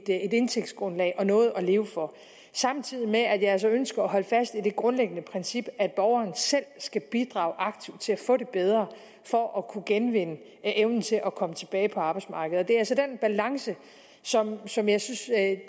indtægtsgrundlag og noget at leve for samtidig med at jeg altså ønsker at holde fast i det grundlæggende princip at borgeren selv skal bidrage aktivt til at få det bedre for at kunne genvinde evnen til at komme tilbage på arbejdsmarkedet det er den balance som jeg synes at